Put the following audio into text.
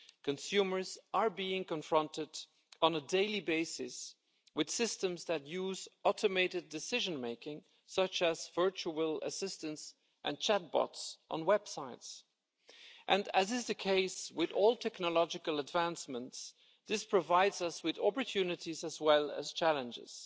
Consumers are being confronted on a daily basis with systems that use automated decision making, such as virtual assistance and chat-bots on websites, and as is the case with all technological advancements, this provides us with opportunities as well as challenges.